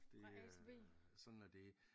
Det øh sådan er det